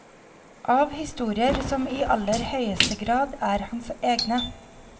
Av historier som i aller høyeste grad er hans egne.